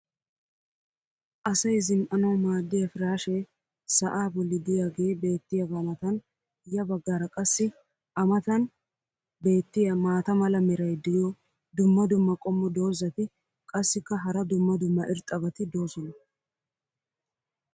asay zin'ananawu maadiya piraashshee sa"aa boli diyaagee beetiyaagaa matan ya bagaara qassi a matan beetiya maata mala meray diyo dumma dumma qommo dozzati qassikka hara dumma dumma irxxabati doosona.